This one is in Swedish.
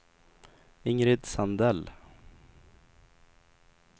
Ingrid Sandell